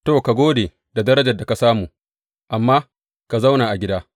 To, ka gode da darajar da ka samu, amma ka zauna a gida!